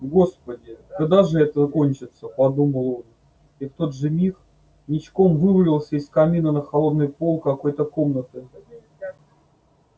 господи когда же это кончится подумал он и в тот же миг ничком вывалился из камина на холодный пол какой-то комнаты